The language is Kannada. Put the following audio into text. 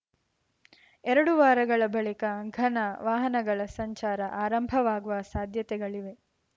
ಎರಡು ವಾರಗಳ ಬಳಿಕ ಘನ ವಾಹನಗಳ ಸಂಚಾರ ಆರಂಭವಾಗುವ ಸಾಧ್ಯತೆಗಳಿವೆ